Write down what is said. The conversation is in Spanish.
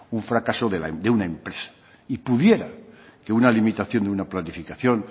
un fracaso de una empresa y pudiera que una limitación de una planificación